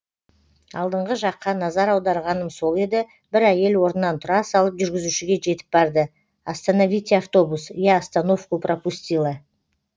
алдыңғы жаққа назар аударғаным сол еді бір әйел орнынан тұра салып жүргізушіге жетіп барды остоновите автобус я остановку пропустила